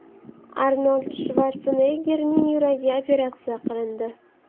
Arnold Shvarseneggerning yuragi operatsiya qilindi.